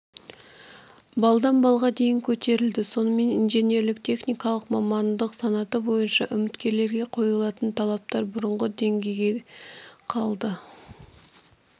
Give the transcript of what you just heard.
балдан балға дейін көтерілді сонымен инженерлік-техникалық мамандық санаты бойынша үміткерлерге қойылатын талаптар бұрынғы деңгейде қалады